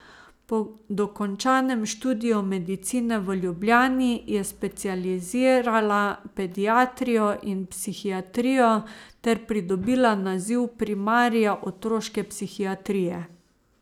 Po dokončanem študiju medicine v Ljubljani je specializirala pediatrijo in psihiatrijo ter pridobila naziv primarija otroške psihiatrije.